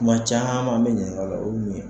Kuma caman bɛ ɲininka o la o mun ye.